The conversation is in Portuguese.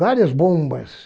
Várias bombas.